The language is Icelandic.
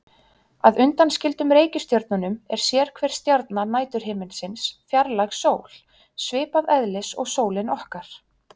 Að undanskildum reikistjörnunum er sérhver stjarna næturhiminsins fjarlæg sól, svipaðs eðlis og sólin okkar.